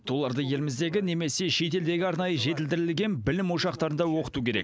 оларды еліміздегі немесе шетелдегі арнайы жетілдірілген білім ошақтарында оқыту керек